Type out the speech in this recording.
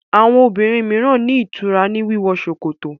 Àwọn obìrin míràn ní ìtura ní wíwọ ṣòkòtò